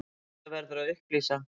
Þetta verður að upplýsa.